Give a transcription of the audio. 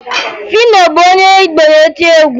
Fino bụ onye Igbo na-eti egwu